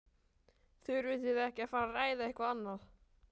Þurfið þið ekki að fara ræða eitthvað annað?